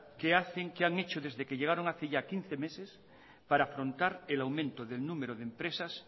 qué han hecho desde que llegaron hace ya quince meses para afrontar el aumento del número de empresas